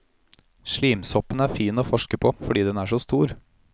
Slimsoppen er fin å forske på fordi den er så stor.